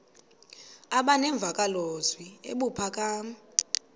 aba nemvakalozwi ebuphakama